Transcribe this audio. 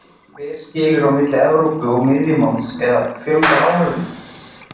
Hver skilur á milli Evrópu og miðjumoðs eða fjölgar áhorfendum?